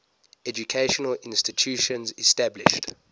educational institutions established